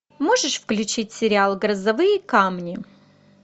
можешь включить сериал грозовые камни